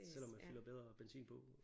Selvom man fylder bedre benzin på